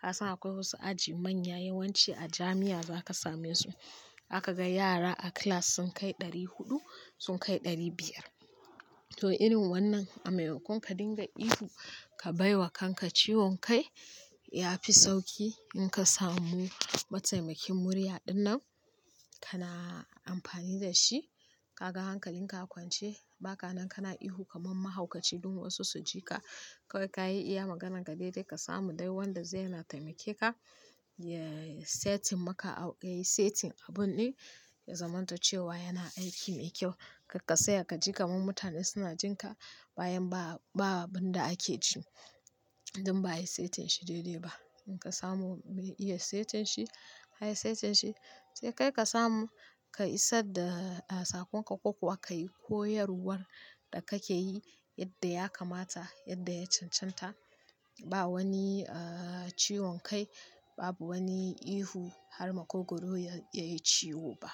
Ka san akwai wasu aji manya yawanci a jami'a za ka same su. Zaka ga yara a class sun kai ɗari huɗu, sun kai ɗari biyar. To irin wannan a maimakon ka dinga ihu ka bai wa kanka ciwon kai ya fi sauki in ka samu mataimakin murya ɗinnan kana amfani da shi. Kaga hankalin ka a kwance ba ka nan kana ihu kamar mahaukaci don wasu su ji ka. Kawai ka yi iya maganan ka daidai ka samu dai wanda zai yana taimake ka, ya setin maka a-- yayi setin abun ɗin ya zamanto cewa yana aiki mai kyau. Karka saya ka ji kamar mutane suna jin ka bayan ba, ba abin da ake ji don ba a yi setin shi daidai ba. In ka samu mai iya setin shi, ka yi setin shi sai kai ka samu ka isadda a sakonka ko kuwa ka yi koyarwar da kake yi yadda ya kamata yadda ya cancanta. Ba wani eh ciwon kai, babu wani ihu har makogoro ya, yayi ciwo ba.